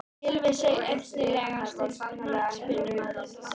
Gylfi Sig Efnilegasti knattspyrnumaður landsins?